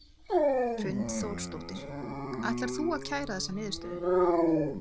Hrund Þórsdóttir: Ætlar þú að kæra þessa niðurstöðu?